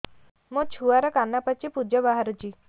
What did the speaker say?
ମୋ ଛୁଆର କାନ ପାଚି ପୁଜ ବାହାରୁଛି